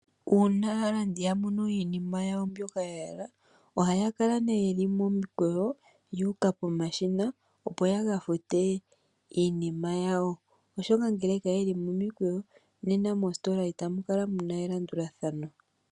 Uuna aalandi ya mono iinima yawo mbyoka ya hala ohaya kala ye li momikweyo yu uka pomashina, opo ya ka fute iinima yawo, oshoka ngele kaye li momikweyo nena moositola itamu kala mu na elandulathano.